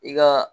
I ka